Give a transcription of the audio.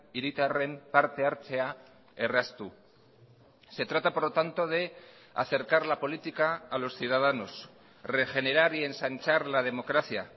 hiritarren partehartzea erraztu se trata por lo tanto de acercar la política a los ciudadanos regenerar y ensanchar la democracia